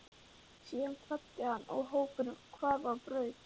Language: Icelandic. Síðan kvaddi hann og hópurinn hvarf á braut.